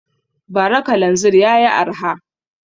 Ba ra kalanzir yayi arha